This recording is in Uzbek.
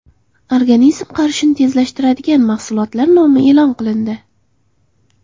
Organizm qarishini tezlashtiradigan mahsulotlar nomi e’lon qilindi.